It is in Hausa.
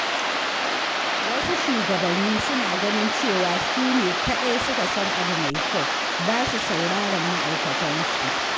Wasu shugabanni suna ganin cewa su ne kaɗai suka san abu mai kyau, ba su sauraron ma’aikatansu.